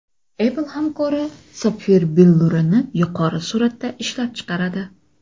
Apple hamkori sapfir billurini yuqori suratda ishlab chiqaradi.